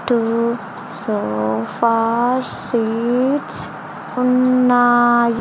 Two sofa seats ఉన్నాయి.